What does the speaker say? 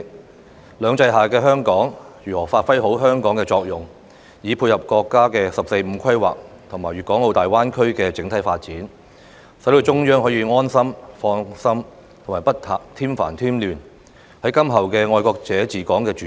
在"兩制"下的香港應該如何發揮作用，以配合國家"十四五"規劃和粵港澳大灣區的整體發展，讓中央可以安心、放心、不添煩添亂，便是今後"愛國者治港"的主軸。